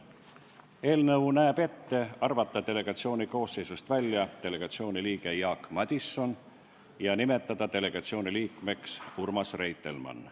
Eelnõu näeb ette arvata delegatsiooni koosseisust välja delegatsiooni liige Jaak Madison ja nimetada delegatsiooni liikmeks Urmas Reitelmann.